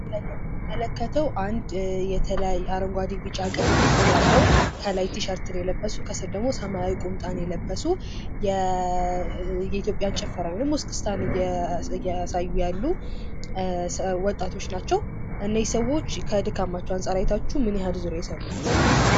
በምስሉ ላይ የምንመለከተው አረንጓደ፣ ቢጫ፣ ቀይ እና ጥቁር ያለው ከላይ ቲሸርት ለብሰዋል። ከታች ሰማያዊ ቁምጣ ለብሰዋል። የኢትዮጵያ ጭፈራን እያሳዩ ይገኛሉ። እነዚህ ሰዎች ከድካማቸው አንጻር አይታችሁ ምንያህል ዙር የሰሩ ይመስላል?